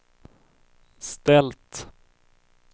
ställt